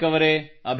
sir ಧನ್ಯವಾದ sir